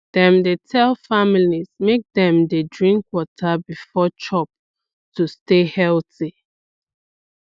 dem dey tell families make dem dey drink water before chop to stay healthy